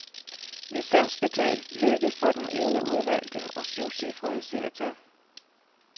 Licensbetalt lykke for den ene udvalgte og syvcifrede seertal.